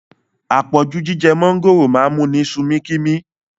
Apọ̀jù jíjẹ mọ̀ngòrò máa ń múni sumi kimi